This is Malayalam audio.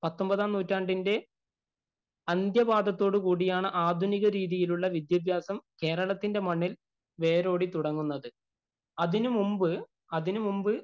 പത്തൊമ്പതാം നൂറ്റാണ്ടിന്‍റെ അന്ത്യപാദത്തോട് കൂടിയാണ് ആധുനിക രീതിയിലുള്ള വിദ്യഭ്യാസം കേരളത്തിന്‍റെ മണ്ണില്‍ വേരോടി തുടങ്ങുന്നത്. അതിനു മുമ്പ് അതിനു മുമ്പ്